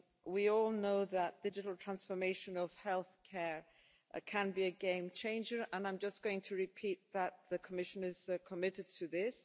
We all know that the digital transformation of healthcare can be a game changer, and I'm just going to repeat that the Commission is committed to this.